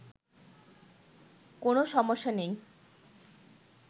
কোন সমস্যা নেই